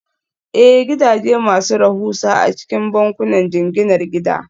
Ee, gidaje masu rahusa a cikin bankunan jinginar gida